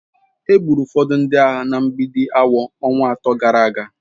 Egburu ụfọdụ ndị agha na Mgbidi awọ ọnwa atọ gara aga.